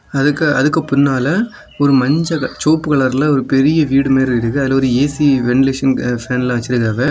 அதுக்கு அதுக்கு பின்னால ஒரு மஞ்ச சிவப்பு கலர்ல ஒரு பெரிய வீடும் இருக்குது அதுல ஒரு ஏ_சி வெண்டிலேஷன்காக ஸ்டேண்ட்ல வச்சிருக்காங்க.